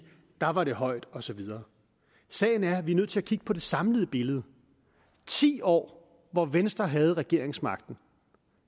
der var det højt og så videre sagen er at vi er nødt til at kigge på det samlede billede og ti år hvor venstre havde regeringsmagten